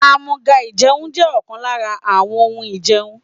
Àmúga-ìjẹun jẹ́ ọ̀kan lára àwọn ohun ìjẹun.